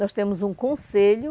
Nós temos um conselho,